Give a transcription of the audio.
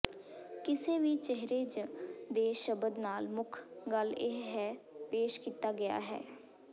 ਕਿਸੇ ਵੀ ਚਿਹਰੇ ਜ ਦੇ ਸ਼ਬਦ ਨਾਲ ਮੁੱਖ ਗੱਲ ਇਹ ਹੈ ਪੇਸ਼ ਕੀਤਾ ਗਿਆ ਹੈ